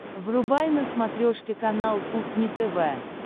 врубай на смотрешке канал кухня тв